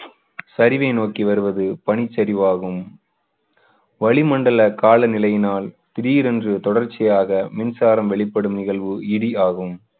சரிவை நோக்கி வருவது பனிச்சரிவாகும். வளிமண்டல காலநிலையினால் திடீரென்று தொடர்ச்சியாக மின்சாரம் வெளிப்படும் நிகழ்வு இடி ஆகும்.